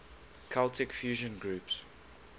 celtic fusion groups